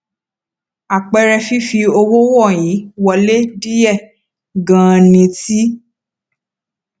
àpẹẹrẹ fífi owó wọnyí wọlé díye ganan ní ti